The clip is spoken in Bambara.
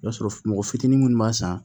I b'a sɔrɔ mɔgɔ fitinin minnu b'a san